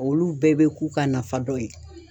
Olu bɛɛ bɛ k'u ka nafa dɔ ye.